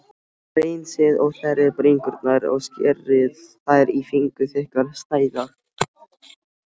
Hreinsið og þerrið bringurnar og skerið þær í fingurþykkar sneiðar.